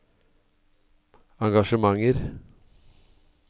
engasjementer